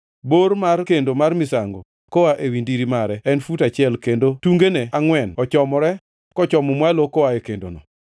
Bor mar kendo mar misango koa ewi ndiri mare en fut auchiel, kendo tungene angʼwen ochomore kochomo malo koa e kendono.